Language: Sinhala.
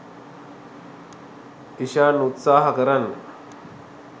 ඉශාන් උත්සහා කරන්න